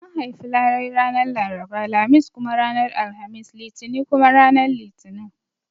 An haifi larai ranar Laraba, Lamis kuma ranar Alhamis, Litini kuma ranar Litinin